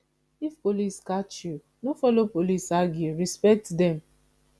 if police catch you no follow police argue respect dem